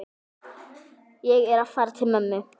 Ég er að fara til mömmu.